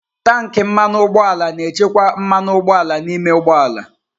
Tanki mmanụ ụgbọala na-echekwa mmanụ ụgbọala n'ime ụgbọ ala.